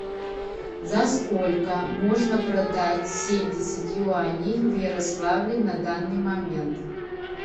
за сколько можно продать семьдесят юаней в ярославле на данный момент